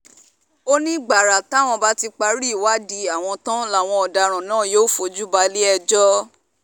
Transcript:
ó ní gbàrà táwọn bá ti parí ìwádìí àwọn tán làwọn ọ̀daràn náà yóò fojú balẹ̀-ẹjọ́